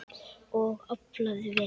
Og aflaði vel.